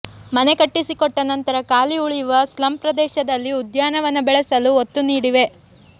ಮನೆ ಕಟ್ಟಿಸಿಕೊಟ್ಟ ನಂತರ ಖಾಲಿ ಉಳಿಯುವ ಸ್ಲಂ ಪ್ರದೇಶದಲ್ಲಿ ಉದ್ಯಾನವನ ಬೆಳೆಸಲು ಒತ್ತು ನೀಡುವೆ